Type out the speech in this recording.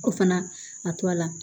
O fana a to a la